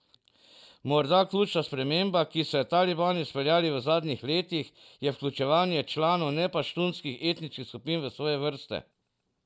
Morda ključna sprememba, ki so jo talibi izpeljali v zadnjih letih, je vključevanje članov nepaštunskih etničnih skupin v svoje vrste.